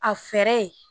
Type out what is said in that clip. A fɛɛrɛ